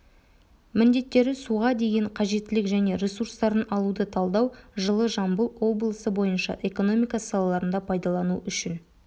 міндеттері суға деген қажеттілік және ресурстарын алуды талдау жылы жамбыл облысы бойынша экономика салаларында пайдалану үшін